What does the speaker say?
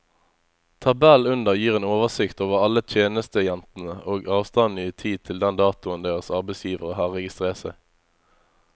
Tabellen under gir en oversikt over alle tjenestejentene og avstanden i tid til den datoen deres arbeidsgivere har registrert seg.